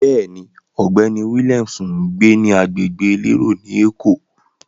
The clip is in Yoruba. Bẹ́ẹ̀ni, ọ̀gbẹ́ni Williams ń gbé ní agbègbè elérò ni Èkó.